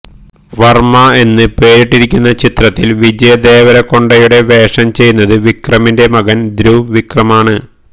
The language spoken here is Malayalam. വർമ്മ എന്ന് പേരിട്ടിരിക്കുന്ന ചിത്രത്തിൽ വിജയദേവരകൊണ്ടയുടെ വേഷം ചെയ്യുന്നത് വിക്രമിന്റെ മകൻ ധ്രുവ് വിക്രമാണ്